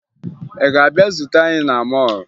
Ị ga-abịa zute anyị na mọọlụ